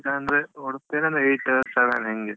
ಈಗ ಅಂದ್ರೆ ಉಡುಪಿಯಲೆಲ್ಲ eight seven ಹಿಂಗೆ.